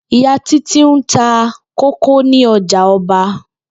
Ìyá Títí ń ta kókó ní o̩jà o̩ba